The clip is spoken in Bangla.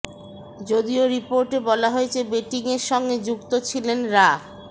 যদিও রিপোর্টে বলা হয়েছে বেটিংয়ের সঙ্গে যুক্ত ছিলেন রা